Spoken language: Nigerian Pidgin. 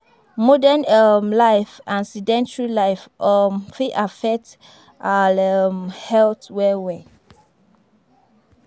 Modern um life and sedentry life um fit affect our um health well well